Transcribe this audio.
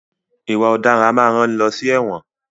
Ìwà ọ̀daràn a máa rán ni lọ sí ẹ̀wọ̀n.